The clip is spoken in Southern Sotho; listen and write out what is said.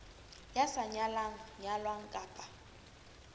ya sa nyalang nyalwang kapa